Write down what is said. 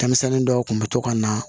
Denmisɛnnin dɔw kun bɛ to ka na